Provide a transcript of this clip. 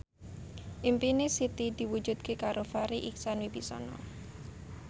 impine Siti diwujudke karo Farri Icksan Wibisana